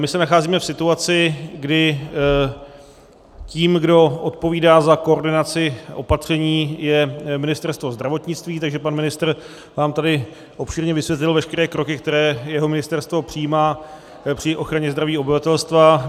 My se nacházíme v situaci, kdy tím, kdo odpovídá za koordinaci opatření, je Ministerstvo zdravotnictví, takže pan ministr vám tady obšírně vysvětlil veškeré kroky, které jeho ministerstvo přijímá při ochraně zdraví obyvatelstva.